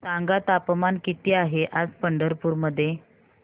सांगा तापमान किती आहे आज पंढरपूर मध्ये